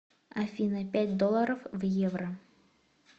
афина пять долларов в евро